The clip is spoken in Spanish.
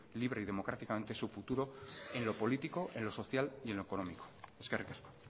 libre y democráticamente su futuro en lo político social y en lo económico eskerrik asko